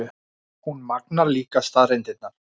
Hún magnar líka staðreyndirnar.